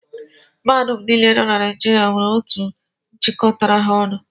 Mahadum niile nọ na Naijiria nwere otu jikọtara ha ọnụ